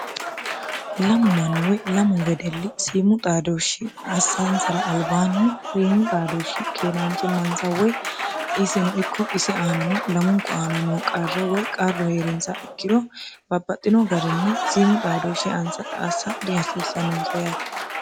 lamu manniwoy lamu wedelli siimu xaadooshshi assaaansara albaanni siimu xaadooshshi keeraanchi mansa woy isino ikko isi aanano lamunku aana noo qarra woy qarru hee'rinsa ikkiro baapaxxino garinni siimu xaadooshshi anassa dihasiissannonsa yaate